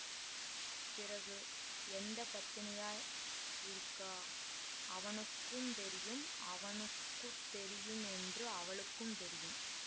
பிறகு எந்த பத்தினியா இருக்கா அவனுக்கும் தெரியும் அவனுக்கு தெரியும் என்று அவளுக்கும் தெரியும்